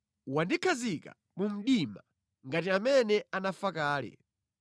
Wandikhazika mu mdima ngati amene anafa kale.